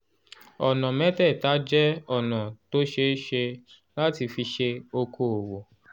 ọ̀nà mẹ́tẹ̀ẹ̀ta jẹ́ ọ̀nà tó ṣeé ṣe láti fi ṣe okoòwò